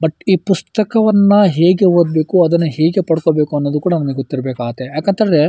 but ಈ ಈ ಪುಸ್ತಕವನ್ನು ಹೇಗೆ ಓದಬೇಕು ಅದನ್ನ ಹೇಗೆ ಪಡ್ಕೋಬೇಕು ಅನ್ನೋದು ಕೂಡ ನಮಗೆ ಗೊತ್ತಿರ್ಬೇಕಾಗುತ್ತೆ ಯಾಕಂತ ಹೇಳಿದ್ರೆ-